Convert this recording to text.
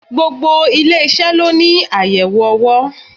Gbogbo ilé-isẹ ló ní ayẹwo owó.